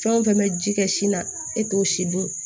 Fɛn o fɛn bɛ ji kɛ sin na e t'o si dun